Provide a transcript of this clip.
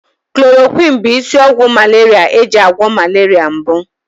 Chloroquine bụ isi ọgwụ malaria eji agwọ malaria mbụ.